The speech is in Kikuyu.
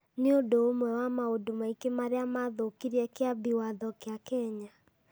nĩ ũndũ ũmwe wa maũndũ maingĩ marĩa maathũũkirie Kĩambi Watho kĩa Kenya